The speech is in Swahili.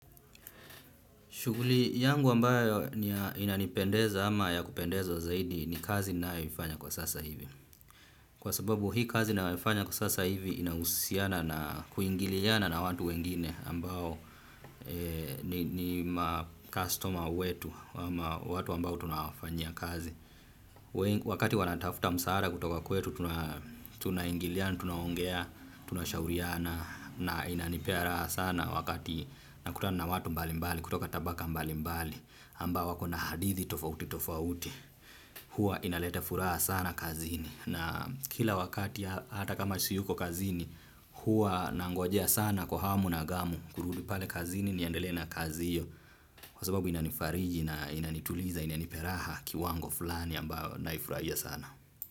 Shughuli yangu ambayo inanipendeza ama ya kupendezo zaidi ni kazi ninayoifanya kwa sasa hivi. Kwa sababu hii kazi naifanya kwa sasa hivi inahusiana na kuingiliana na watu wengine ambao ni customer wetu, watu ambao tunafanyia kazi. Wakati wanatafuta msaada kutoka kwetu tunaingiliana, tunaongea, tunashauriana na inanipea raha sana wakati nakutana na watu mbali mbali, kutoka tabaka mbali mbali. Ambao wako na hadithi tofauti tofauti huwa inaleta furaha sana kazini na kila wakati hata kama siyuko kazini huwa nangojea sana kwa hamu na gamu kurudi pale kazini niendele na kazi hiyo kwa sababu inanifariji na inanituliza inanipea raha kiwango fulani ambayo naifurahia sana.